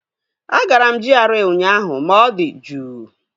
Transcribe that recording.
Agara m GRA ụnyaahụ ma ọ dị juu